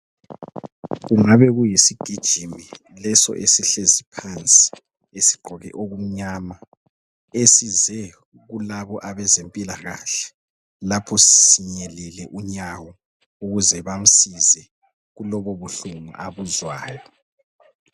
Kungabe kuyisigijimi leso esihlezi phansi, esigqoke okumnyama, esize kulabo abezempilakahle lapho sinyelile unyawo ukuze bamsize kulobubuhlungu abuzwayo.